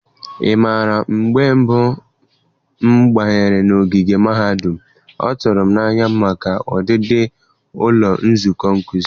Ị mara, mgbe mbụ m banyere n'ogige mahadum m, ọ tụrụ m n'anya maka ọdịdị ụlọ nzukọ nkuzi.